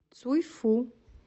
цюйфу